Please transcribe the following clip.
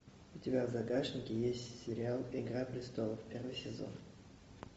у тебя в загашнике есть сериал игра престолов первый сезон